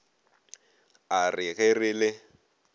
a re ge re le